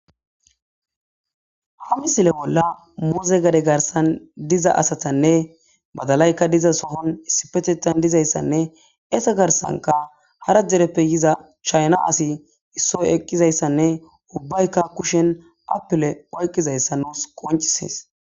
hani sile bolla muuze gade garsan diza asatanne badalaykka diza sohon issipetetan dizayssanne esa garsanka hara dereppe yiza chayna asi issoy eqqizayssanne ubbaykka kushen apile oyqqizayssa nuus qoncisees